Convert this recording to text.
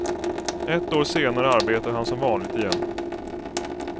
Ett år senare arbetar han som vanligt igen.